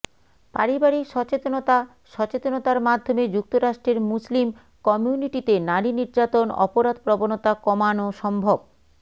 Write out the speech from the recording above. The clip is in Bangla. পারিবারিক সচেতনতা সচেতনতার মাধ্যমে যুক্তরাষ্ট্রের মুসলিম কমিউনিটিতে নারী নির্যাতন অপরাধপ্রবণতা কমান সম্ভব